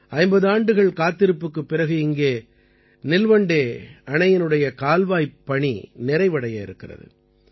50 ஆண்டுகள் காத்திருப்புக்குப் பிறகு இங்கே நில்வண்டே அணையினுடைய கால்வாய்ப் பணி நிறைவடைய இருக்கிறது